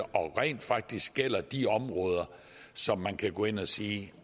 og rent faktisk gælder i de områder som man kan gå ind og sige